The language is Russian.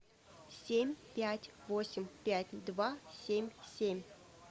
семь пять восемь пять два семь семь